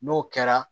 N'o kɛra